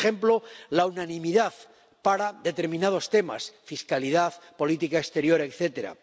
Por ejemplo, la unanimidad para determinados temas fiscalidad, política exterior, etcétera